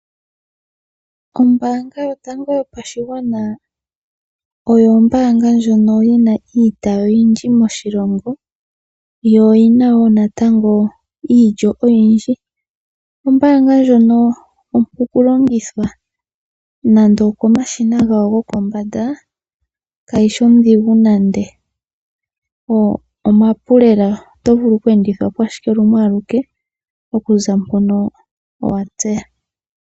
Ombaanga yotango yopashigwana oyo ombaanga ndjono yina iitayi oyindji moshilongo, yo oyina woo natango iilyo oyindji . Ombaanga ndjono ompu oju longitha nande okomashina gawo gokombanda kayishi ondhigu nande ,omapu lela oto vulu oku endithwapo ashike lumwe aluke okuza mpono owatseya.